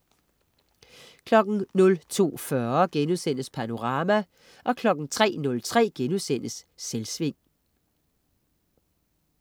02.40 Panorama* 03.03 Selvsving*